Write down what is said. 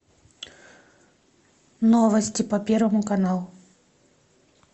новости по первому каналу